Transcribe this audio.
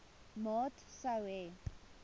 maat sou hê